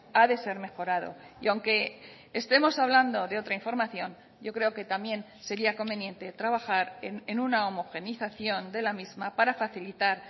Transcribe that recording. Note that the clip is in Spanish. ha de ser mejorado y aunque estemos hablando de otra información yo creo que también sería conveniente trabajar en una homogeneización de la misma para facilitar